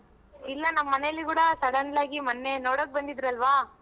ಇಲ್ಲ ನಮ್ ಮನೇಲಿ ಕೂಡ sudden ಆಗಿ ಮೊನ್ನೆ ನೋಡಕ್ ಬಂದಿದ್ರಲ್ವ,